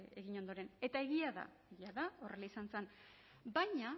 egin ondoren eta egia da jada horrela izan zen baina